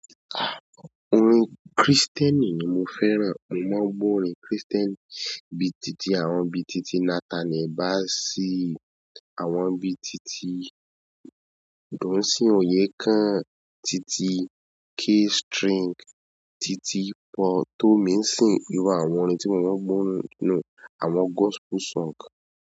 Orin Krìstẹ́nì ni mo fẹ́ràn, mo má ń gbọ́ orin Krìstẹ́nì bíi titi àwọn bíi titi Nathaniel Bassey, àwọn bíi titi Dunsin Oyekan, titi K-String, titi Paul Tomisin, irú àwọn orin tí mo má ń gbọ́ nùhun, àwọn gospel song.